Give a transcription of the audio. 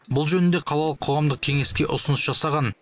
бұл жөнінде қалалық қоғамдық кеңеске ұсыныс жасаған